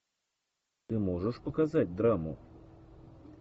ты можешь показать драму